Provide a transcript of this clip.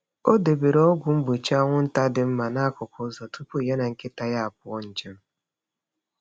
Ọ debere ọgwụ mgbochi anwụnta dị mma n’akụkụ ụzọ tupu ya na nkịta ya apụọ njem.